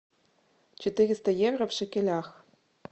четыреста евро в шекелях